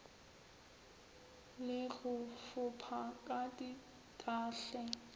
le go fopha ka dintahle